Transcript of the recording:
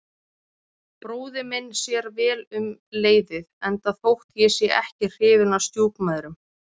Bróðir minn sér vel um leiðið, enda þótt ég sé ekki hrifinn af stjúpmæðrum.